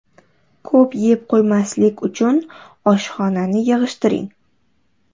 Ko‘p yeb qo‘ymaslik uchun oshxonani yig‘ishtiring.